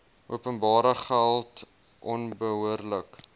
openbare geld onbehoorlike